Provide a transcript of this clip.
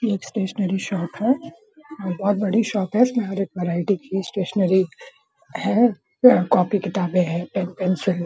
ये एक stationery shop है और बहुत बड़ी शॉप है इसमें हर एक वैरायटी स्टेशनरी है यहाँ कॉपी - किताबें हैं पेन - पेंसिल --